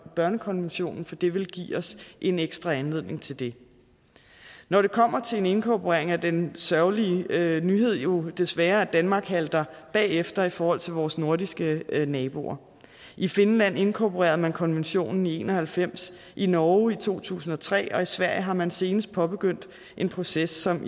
børnekonventionen for det vil give os en ekstra anledning til det når det kommer til en inkorporering er den sørgelige nyhed nyhed jo desværre at danmark halter bagefter i forhold til vores nordiske naboer i finland inkorporerede man konventionen i nitten en og halvfems i norge i to tusind og tre og i sverige har man senest påbegyndt en proces som